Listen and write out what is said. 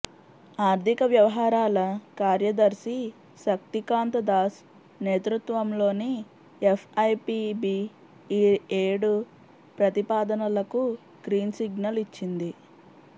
ఆర్థిక వ్యవహారాల కార్యదర్శి శక్తికాంత దాస్ నేతృత్వంలోని ఎఫ్ఐపిబి ఈ ఏడు ప్రతిపాదనలకు గ్రీన్సిగ్నల్ ఇచ్చింది